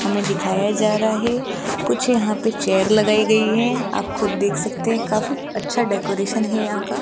हमें दिखाया जा रहा है कुछ यहां पे चेयर लगाई गई है आप खुद देख सकते हैं काफी अच्छा डेकोरेशन है यहां का --